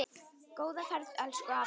Góða ferð, elsku afi.